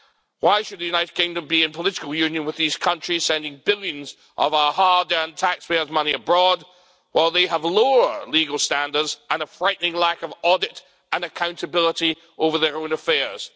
Why should the United Kingdom be in political union with these countries sending billions of our hard earned taxpayers' money abroad while they have lower legal standards and a frightening lack of audit and accountability over their own affairs?